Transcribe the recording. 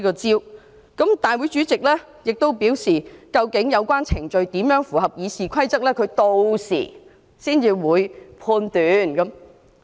而大會主席亦表示，究竟有關程序要怎樣才符合《議事規則》，他屆時才會判斷。